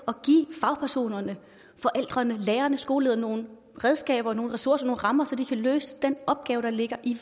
at give fagpersonerne forældrene lærerne skolelederne nogle redskaber nogle ressourcer nogle rammer så de kan løse den opgave der ligger i